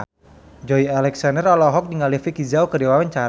Joey Alexander olohok ningali Vicki Zao keur diwawancara